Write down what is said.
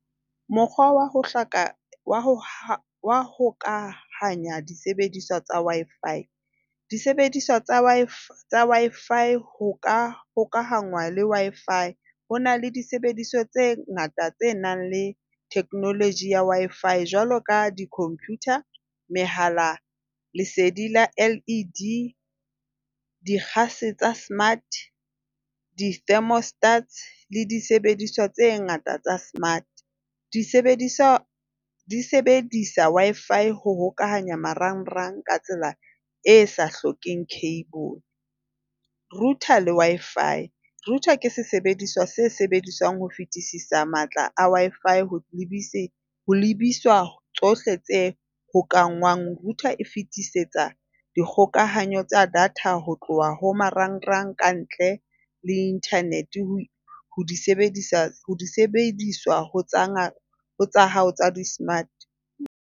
Mokgwa wa ho hloka ho hokahanya disebediswa tsa Wi-Fi. Disebediswa tsa Wi-Fi Wi-Fi ho ka hokahanya le Wi-Fi. Ho na le disebediswa tse ngata tse nang le technology ya Wi-Fi. Jwalo ka di-computer, mehala, lesedi la LED, dikgase tsa mart, di-thermostat le disebediswa tse ngata tsa smart. Di sebediswa di sebedisa Wi-Fi ho hokahanya marangrang ka tsela e sa hlokeheng cable. Router le Wi-Fi. Router ke sesebediswa se sebediswang ho fetisisa matla a Wi-Fi ho ho lebiswa tsohle tse hokahangwang. Router e fitisetsa dikgokahanyo tsa data ho tloha ho marangrang kantle le internet smart.